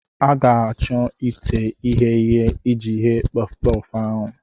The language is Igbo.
a ga-achọ ite ighe ihe iji ghee puffu-puffu ahụ.